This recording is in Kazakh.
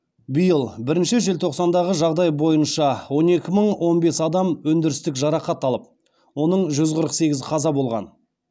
биыл бірінші желтоқсандағы жағдай бойынша он екі мың он бес адам өндірістік жарақат алып оның жүз қырық сегізі қаза болған